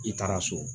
I taara so